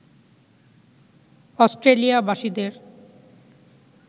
Australia বাসীদের